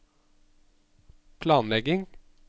planlegging